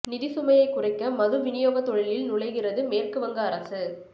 நிதி சுமையை குறைக்க மது விநியோக தொழிலில் நுழைகிறது மேற்குவங்க அரசு